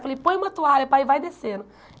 Falei, põe uma toalha, pai, e vai descendo.